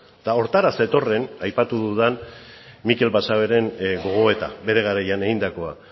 eta horretara zetorren aipatu dudan mikel basaberen gogoeta bere garaian egindakoa